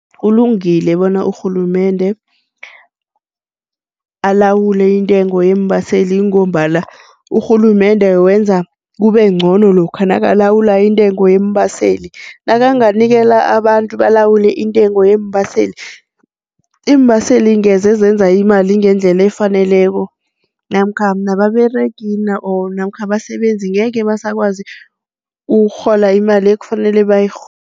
Kulungile bona urhulumende alawule intengo yeembaseli ngombana urhulumende wenza kubengcono lokha nakalawula intengo yeembaseli, nakanganikela abantu balawule intengo yeembaseli, iimbaseli ngeze ezenza imali ngendlela efaneleko namkha nababeregi nabo or namkha abasebenzi ngekhe basakwazi ukurhola imali ekufanele